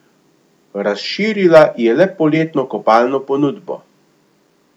Razširila je le poletno kopalno ponudbo.